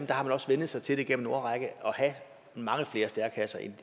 der har man også vænnet sig til igennem en årrække at have mange flere stærekasser end